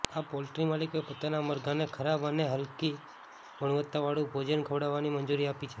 આ પોલ્ટ્રી માલિકોએ પોતાનાં મરઘાંને ખરાબ અને હલકી ગુણવત્તાવાળું ભોજન ખવડાવવાની મંજૂરી આપી છે